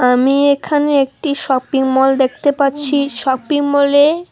আমি এখানে একটি শপিং মল দেখতে পাচ্ছি শপিংমলে--